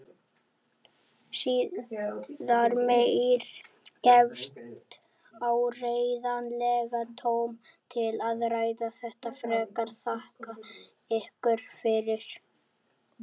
Síðar meir gefst áreiðanlega tóm til að ræða þetta frekar, þakka ykkur fyrir.